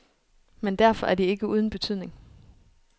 Men derfor er de ikke uden betydning.